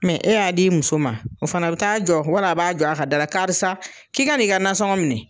e y'a di i muso ma , o fana be taa jɔ wala a b'a jɔ a ka da la karisa k'i ka n'i ka nasɔngɔ minɛ.